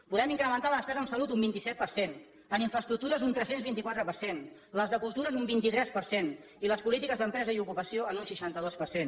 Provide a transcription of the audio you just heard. podem incrementar la despesa en salut un vint set per cent en infraestructures un tres cents i vint quatre per cent les de cultura en un vint tres per cent i les polítiques d’empresa i ocupació en un seixanta dos per cent